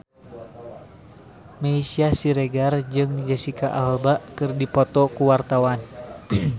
Meisya Siregar jeung Jesicca Alba keur dipoto ku wartawan